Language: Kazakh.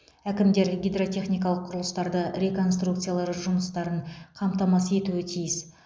әкімдер гидротехникалық құрылыстарды реконструкциялау жұмыстарын қамтамасыз етуі тиіс